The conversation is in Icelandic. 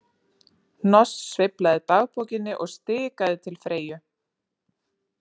Hnoss sveiflaði dagbókinni og stikaði til Freyju.